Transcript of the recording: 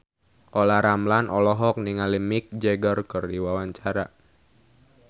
Olla Ramlan olohok ningali Mick Jagger keur diwawancara